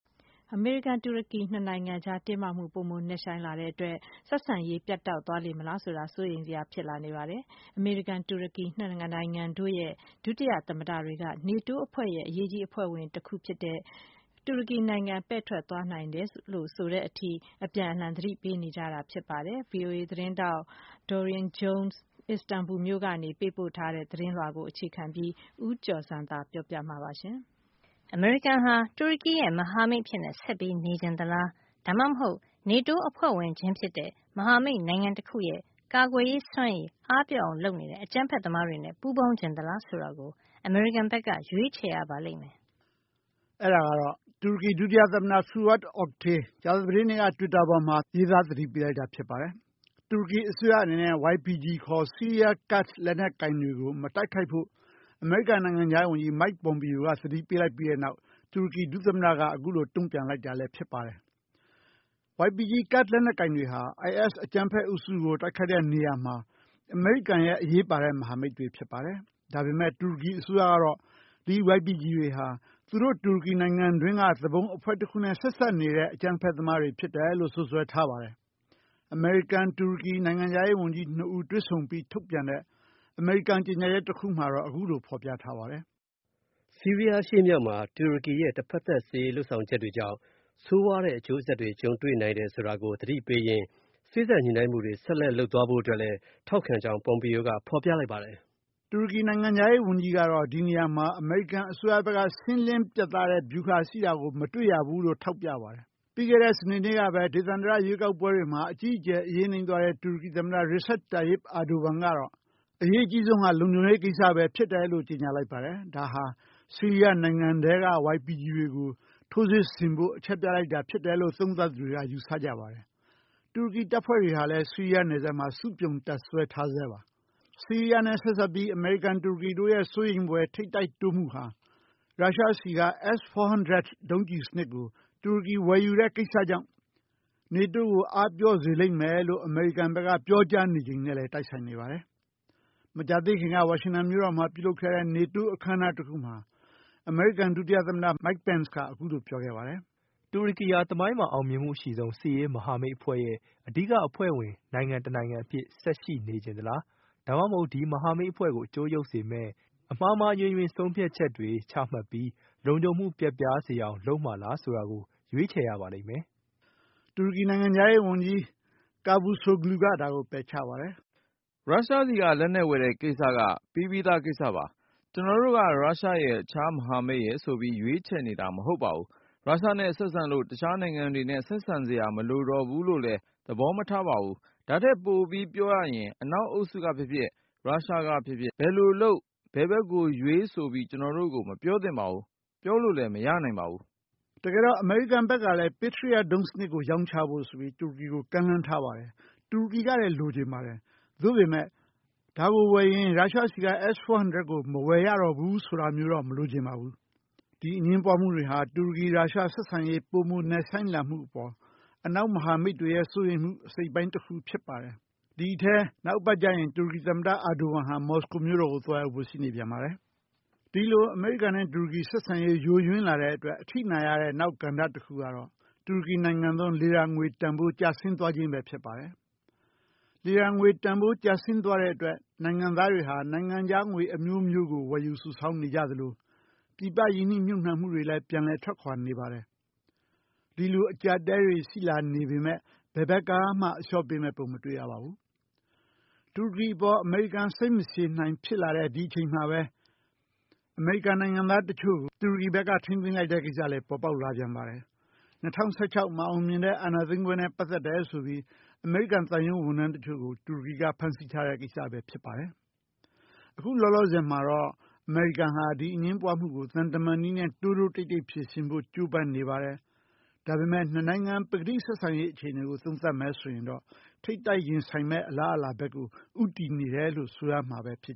အမေရိကန်-တူရကီ နှစ်နိုင်ငံကြား တင်းမာမှု ပိုမိုနက်ရှိုင်းလာတဲ့အတွက် ဆက်ဆံရေး ပြတ်တောက် သွားလေမလားဆိုတာ စိုးရိမ်စရာ ဖြစ်လာနေပါတယ်။ အမေရိကန်-တူရကီ နှစ်နိုင်ငံတို့ရဲ့ ဒုတိယ သမ္မတ တွေက နေတိုးအဖွဲ့ရဲ့ အရေးကြီးအဖွဲ့ဝင်တခုဖြစ်တဲ့ တူရကီနိုင်ငံ ပဲ့ထွက်သွားနိုင်တယ်လို့- ဆိုတဲ့အထိ အပြန်အလှန် သတိပေးနေကြပါတယ်။ VOA သတင်းထောက် Dorian Jones က Istanbul မြို့ကနေ ပေးပို့တဲ့သတင်းလွှာကို အခြေခံပြီး ဦးကျော်ဇံသာ ပြောပြမှာပါ။ “အမေရိကန်ဟာ တူရကီရဲ့ မဟာမိတ်အဖြစ် ဆက်လက်နေချင်သလား၊ ဒါမှမဟုတ် နေတိုးအဖွဲ့ဝင်ချင်း ဖြစ်တဲ့ မဟာမိတ်နိုင်ငံတခုရဲ့ ကာကွယ်ရေးစွမ်းရည် အားပျော့အောင်လုပ်နေတဲ့ အကြမ်းဖက်သမား တွေနဲ့ ပူးပေါင်းချင်သလားဆိုတာကို အမေရိကန်က ရွေးချယ်ရပါလိမ့်မယ်။” အဲဒါကတော့ တူရကီဒုတိယသမ္မတ Fuat Oktay က ကြာသပတေးနေ့က တွစ်တာပေါ်မှာ သတိပေး ရေးသားလိုက်တာ ဖြစ်ပါတယ်။ တူရကီအစိုးရအနေနဲ့ YPG ခေါ် ဆီးရီးယား-ကာ့ဒ် လက်နက်ကိုင်တွေကို မတိုက်ခိုက်ဖို့ အမေရိကန် နိုင်ငံခြားရေးဝန်ကြီး Mike Pompeo က သတိပေးလိုက်ပြီးတဲ့နောက် တူရကီဒုသမ္မတက အခုလို တုံ့ပြန် လိုက်တာလည်း ဖြစ်ပါတယ်။ YPG ကာ့ဒ် လက်နက်ကိုင်တွေဟာ IS အကြမ်းဖက်အုပ်စုကို တိုက်ခိုက်ရာမှာ အမေရိကန်ရဲ့ အရေးပါတဲ့ မဟာမိတ်တွေဖြစ်ပါတယ်။ ဒါပေမဲ့ တူရကီအစိုးရကတော့ ဒီ YPG တွေဟာ တူရကီနိုင်ငံ တွင်းက သူပုန်အဖွဲ့တခုနဲ့ ဆက်စပ်နေတဲ့ အကြမ်းသမားတွေ ဖြစ်တယ်လို့ စွပ်စွဲထားပါတယ်။ အမေရိကန်-တူရကီ နိုင်ငံခြားရေးဝန်ကြီး နှစ်ဦးတွေ့ဆုံပြီး ထုတ်ပြန်တဲ့ အမေရိကန်ကြေညာချက် တခု မှာတော့ အခုလိုဖော်ပြထားပါတယ်။ “ ဆီးရီးယား အရှေ့မြောက်မှာ တူရကီရဲ့ တဖက်သတ် စစ်ရေးလုပ်ဆောင်ချက်တွေကြောင့် ဆိုးရွားတဲ့ အကျိုးဆက်တွေ ကြုံတွေ့ရနိုင်တယ် ဆိုတာကို သတိပေးရင်း စေ့စပ် ညှိနှိုင်းမှုတွေ ဆက်လက်လုပ် သွားဖို့အတွက်လည်း ထောက်ခံကြောင်း Pompeo က ဖေါ်ပြလိုက်ပါတယ်။” တူရကီ နိုင်ငံခြားရေးဝန်ကြီးကတော့ ဒီနေရာမှာ အမေရိကန်အစိုးရဘက်က ‘ရှင်းလင်းပြတ်သားတဲ့ ဗျူဟာ’ ရှိတာ မတွေ့ရဘူးလို့ ထောက်ပြပါတယ်။ ပြီးခဲ့တဲ့ စနေနေ့ကပဲ ဒေသန္တရ ရွေးကောက်ပွဲတွေမှာ အကြီးအကျယ် အရေးနိမ့်ထားတဲ့ တူရကီသမ္မတ Recep Tayyip Erdogan ကတော့ လုံခြုံရေးကိစ္စဟာ အရေးကြီးဆုံးဖြစ်တယ်လို့ ကြေညာလိုက် ပါတယ်။ ဒါဟာ ဆီးရီးယားနိုင်ငံထဲက YPG တွေကို ထိုးစစ်ဆင်ဖို့ အချက်ပြလိုက်တာလို့ သုံးသပ်သူတွေက ယူဆပါတယ်။ တူရကီတပ်ဖွဲ့တွေကလည်း ဆီးယားနယ်စပ်မှာ စုပြုံတပ်စွဲထားဆဲပါ။ ဆီးရီးယားနဲ့ ဆက်စပ်ပြီး အမေရိကန်-တူရကီတို့ရဲ့ စိုးရိမ်ဖွယ် ထိပ်တိုက်တိုးမှုဟာ ရုရှားဆီက S 400 ဒုံးကျည်စနစ်ကို တူရကီဝယ်ယူတဲ့ကိစ္စကြာင့် NATO ကို အားပျော့သွားစေလိမ့်မယ်လို့ အမေရိကန်ဘက် က ပြောကြားနေချိန်လည်း ဖြစ်ပါတယ်။ မကြာသေးခင်က ဝါရှင်တန်မြို့တော်မှာ ပြုလုပ်ခဲ့တဲ့ NATO အခမ်းအနားတခုမှာ အမေရိကန် ဒုတိယသမ္မတ Mike Pence က အခုလို ပြောကြားခဲ့ပါတယ်။ “တူရကီဟာ သမိုင်းမှာ အအောင်မြင်ဆုံး စစ်ရေးမဟာမိတ်အဖွဲ့ရဲ့ စစ်ရေးမဟာမိတ်ရဲ့ အဓိကအဖွဲ့ဝင် တနိုင်ငံအဖြစ် ဆက်လက် ရှိနေချင်သလား၊ ဒါမှမဟုတ် ဒီမဟာမိတ်အဖွဲ့ကို အကျိုးယုတ်စေမယ့် ဆုံးဖြတ်ချက်မှားတွေ ချမှတ်ပြီး လုံခြုံမှု ပျက်ပြားအောင် လုပ်မလားဆိုတာကို ရွေးချယ်ရပါလိမ့်မယ်။” တူရကီနိုင်ငံခြားရေး ဝန်ကြီး Cavusoglu က ဒါကို ပယ်ချပါတယ်။ “ရုရှားဆီက လက်နက်ဝယ်တဲ့ကိစ္စက ပြီးပြီးသား ကိစ္စပါ။ ကျနော်တို့က ရုရှားရယ်၊ တခြား မဟာမိတ်ရယ်ဆိုပြီး ရွေးချယ်နေတာ မဟုတ်ပါဘူး။ ရုရှားနဲ့ဆက်ဆံလို့ တခြားနိုင်ငံတွေနဲ့ ဆက်ဆံစရာ မလိုတော့ဘူးလို့လည်း သဘောမထားပါဘူး။ ဒါထက်ပိုပြီးပြောရရင် အနောက်အုပ်စု ကဖြစ်ဖြစ်၊ ရုရှားက ဖြစ်ဖြစ်၊ ဘယ်လိုလုပ်၊ ဘယ်ဘက်ကိုရွေးဆိုပြီးကျနော်တို့ကို မပြောသင့်ပါဘူး။ ပြောလို့လည်း မရနိုင်ပါဘူး။” - လို့ တူရကီ နိုင်ငံခြားရေးဝန်ကြီးက ပြောခဲ့ပါတယ်။ တကယ်တော့ အမေရိကန်ဘက်ကလည်း Patriot ဒုံးကျည်စနစ် ရောင်းချဖို့ တူရကီကို ကမ်းလှမ်းထားတာပါ။ တူရကီကလည်း လိုချင်ပါတယ်။ သို့ပေမယ့် ဒါကိုဝယ်ရင် ရုရှားဆီက S-400 ဒုံးကျည် မဝယ်ရတော့ဘူးဆိုတာမျိုးတော့ မလိုချင်ပါဘူး။ ဒီအငြင်းပွားမှုတွေဟာ တူရကီ-ရုရှားဆက်ဆံရေး ပိုမိုနက်ရှိုင်းလာမှုအပေါ် အနောက်မဟာမိတ်တွေရဲ့ စိုးရိမ်မှုရဲ့ အစိတ်အပိုင်းတခုဖြစ်ပါတယ်။ ဒီအထဲ နောက်အပတ်ကျရင် တူရကီသမ္မတ Erdogan ဟာ မော်စကိုမြို့တော်ကို သွားရောက်ဖို့ ရှိနေပါတယ်။ ဒီလို အမေရိကန်နဲ့တူရကီ ဆက်ဆံရေးယိုယွင်းလာတဲ့အတွက် အထိနာရတဲ့ကဏ္ဍတခုကတော့ တူရကီနိုင်ငံသုံး Lira ငွေတန်ဖိုး ကျဆင်းသွားခြင်းပဲဖြစ်ပါတယ်။ Lira ငွေ တန်ဖိုး ကျဆင်း သွားတဲ့အတွက် နိုင်ငံသားတွေဟာ နိုင်ငံခြားငွေအမျိုးမျိုးကို စုဆောင်း ဝယ်ယူနေကြသလို ပြည်ပရင်းနှီးမြှုပ်နှံမှုတွေလည်း ပြန်လည် ထွက်ခွာနေပါတယ်။ ဒီလို အကြပ်အတည်းတွေ ရှိလာပေမဲ့ ဘယ်ဘက်ကမှအလျှော့ပေးမယ့်ပုံကို မတွေ့ရပါဘူး။ တူရကီအပေါ် အမေရိကန် စိတ်မရှည်နိုင်ဖြစ်လာတဲ့အချိန်မှာပဲ အမေရိကန် နိုင်ငံသားတချို့ကို တူရကီနိုင်ငံက ထိန်းသိမ်းထားတဲ့ကိစ္စလည်း ပေါ်ပေါက်လာပြန်ပါတယ်။ ၂၀၁၆ မအောင်မြင်တဲ့ အာဏာသိမ်းပွဲနဲ့ ပတ်သက်တယ်ဆိုပြီး အမေရိကန်သံရုံးဝန်ထမ်းတချို့ကို တူရကီက ဖမ်းဆီးထားတဲ့ ကိစ္စပဲ ဖြစ်ပါတယ်။ အခုလောလောဆယ်အထိတော့ အမေရိကန်ဟာ ဒီအငြင်းပွားမှုကို သံတမန်နည်းနဲ့ တိုးတိုးတိတ်တိတ် ဖြေရှင်းဖို့ ကြိုးပမ်းနေပေမဲ့ နှစ်နိုင်ငံရဲ့ပကတိဆက်ဆံရေး အခြေအနေကတော့ ထိပ်တိုက်ရင်ဆိုင်မယ့် အလားအလာကို ဦးတည်နေတယ်လို့ ဆိုရမှာပဲဖြစ်